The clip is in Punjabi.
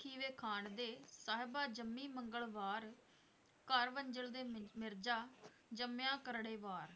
ਖੀਵੇ ਖਾਨ ਦੇ ਸਾਹਿਬਾਂ, ਜੰਮੀ ਮੰਗਲਵਾਰ, ਘਰ ਵੰਝਲ ਦੇ ਮਿਰ~ ਮਿਰਜ਼ਾ ਜੰਮਿਆ ਕਰੜੇਵਾਰ।